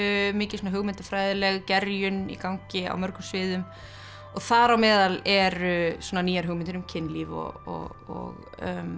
mikil hugmyndafræðileg gerjun í gangi á mörgum sviðum og þar á meðal eru svona nýjar hugmyndir um kynlíf og